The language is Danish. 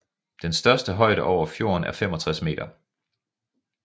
Den største højde over fjorden er 65 meter